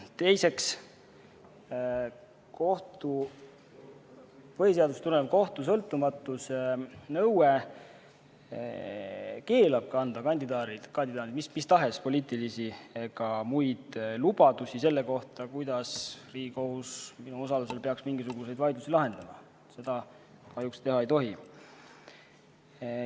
Teiseks, põhiseadusest tulenev kohtu sõltumatuse nõue keelab anda kandidaadil mistahes poliitilisi või muid lubadusi selle kohta, kuidas Riigikohus minu osalusel peaks mingisuguseid vaidlusi lahendama – seda kahjuks teha ei tohi.